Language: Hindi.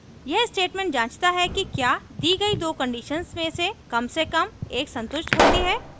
यह statement जाँचता है कि क्या दी गई दो conditions में से कम से कम एक संतुष्ट होती है